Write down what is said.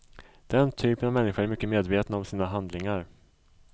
Den typen av människor är mycket medvetna om sina handlingar.